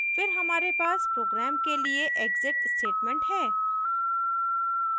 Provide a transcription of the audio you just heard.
फिर हमारे पास program के लिए exit statement है